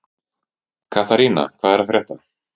Katharina, hvað er að frétta?